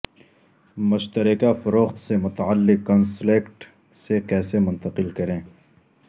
مشترکہ فروخت سے متعلق کنسلکیٹ سے کیسے منتقل کریں